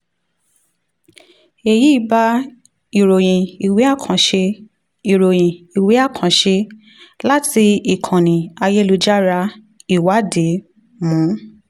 èyí bá ìròyìn ìwé àkànṣe ìròyìn ìwé àkànṣe 2022 láti ìkànnì ayélujára ìwádìí mu.